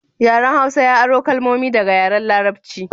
Yaren Hausa ya aro kalmomi daga yaren Larabci